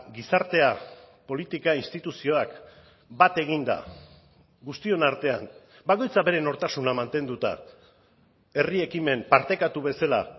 gizartea politika instituzioak bat eginda guztion artean bakoitzak bere nortasuna mantenduta herri ekimen partekatu bezala